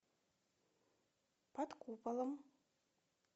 под куполом